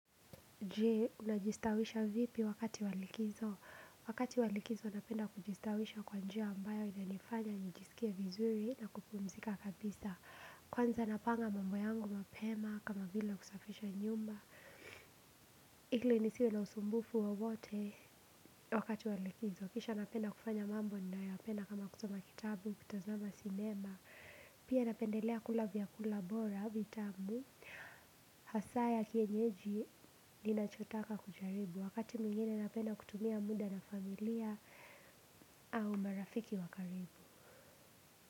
Jee, unajistawisha vipi wakati walikizo. Wakati walikizo, napenda kujistawisha kwa njia ambayo inanifanya nijisikie vizuri na kupumzika kabisa. Kwanza napanga mambo yangu mapema kama vila kusafisha nyumba. Hili nisiwe na usumbufu wowote wakati walikizo. Kisha napenda kufanya mambo, nayopenda kama kuzoma kitabu, kutazama sinema. Pia napendelea kula vyakula bora, vitamu. Hasaa ya kienyeji linachotaka kujaribu wakati mingine napenda kutumia muda na familia au marafiki wakaribu.